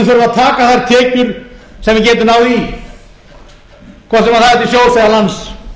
taka þær tekjur sem við getum náð í hvort sem það er til sjós eða lands